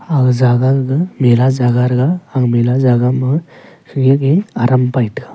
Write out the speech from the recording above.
aga jaga gaga mela jaga rega aga mela jaga ma pheyak ge aram pai tega.